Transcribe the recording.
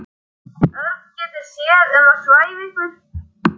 Örn getur séð um að svæfa ykkur.